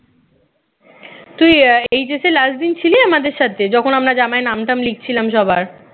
তুই আহ HS এ last দিন ছিলি আমাদের সাথে যখন আমরা জামায় নাম টাম লিখছিলাম সবার